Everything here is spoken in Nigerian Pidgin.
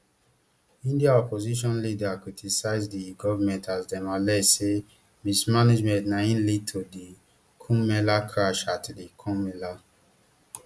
indian opposition leaders criticise di goment as dem allege say mismanagement na im lead to di kumbh mela crush at the kumbh mela